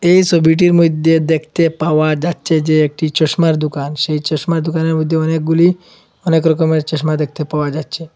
এ সবিটির মইধ্যে দেখতে পাওয়া যাচ্ছে যে এটি চশমার দুকান সেই চশমার দোকানের মইধ্যে অনেকগুলি অনেক রকমের চশমা দেখতে পাওয়া যাচ্ছে।